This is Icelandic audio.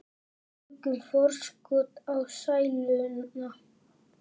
Tökum forskot á sæluna.